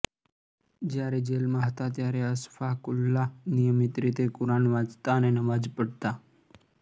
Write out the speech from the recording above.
જ્યારે જેલમાં હતા ત્યારે અશફાકુલ્લા નિયમિત રીતે કુરાન વાંચતા અને નમાજ઼ પઢતા